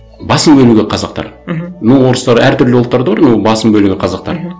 басым бөлігі қазақтар мхм но орыстар әртүрлі ұлттар да бар но басым бөлігі қазақтар мхм